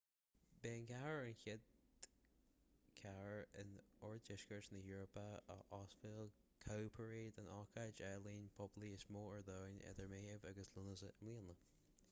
beidh an chathair ar an gcéad chathair in oirdheisceart na heorpa a óstálfaidh cowparade an ócáid ​​ealaíne poiblí is mó ar domhan idir meitheamh agus lúnasa i mbliana